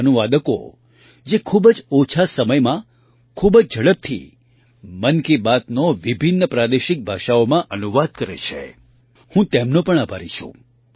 તે અનુવાદકો જે ખૂબ જ ઓછા સમયમાં ખૂબ જ ઝડપથી મન કી બાતનો વિભિન્ન પ્રાદેશિક ભાષાઓમાં અનુવાદ કરે છેહું તેમનો પણ આભારી છું